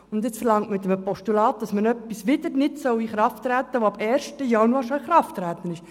Nun verlangt man mit einem Postulat, dass etwas wieder nicht in Kraft treten soll, das auf den 1. Januar schon in Kraft getreten ist.